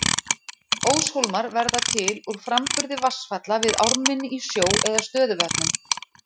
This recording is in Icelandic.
Óshólmar verða til úr framburði vatnsfalla við ármynni í sjó eða stöðuvötnum.